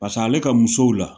Pas'ale ka musow la